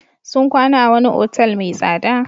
Sun kwana a wani otal mai tsada.